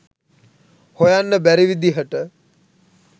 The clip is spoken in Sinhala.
හොයන්න බැරි විදිහට